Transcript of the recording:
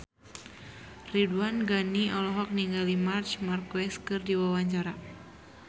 Ridwan Ghani olohok ningali Marc Marquez keur diwawancara